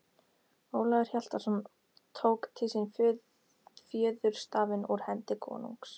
Ólafur Hjaltason tók til sín fjöðurstafinn úr hendi konungs.